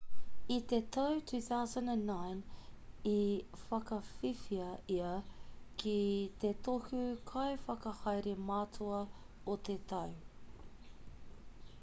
i te tau 2009 i whakawhiwhia ia ki te tohu kaiwhakahaere matua o te tau